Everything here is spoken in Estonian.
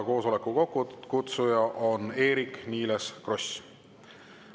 Koosoleku kokkukutsuja on Eerik-Niiles Kross.